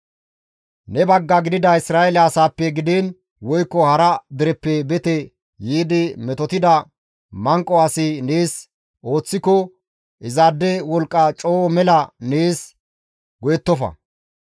Ne bagga gidida Isra7eele asaappe gidiin woykko hara dereppe bete yiidi metotida manqo asi nees ooththiko, izaade wolqqa coo mela nees go7ettofa.